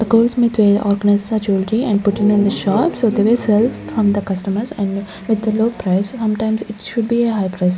the girls with a organize the jewellery and put in in the shop so they will sell from the customers and with the low price sometimes it should be a high price.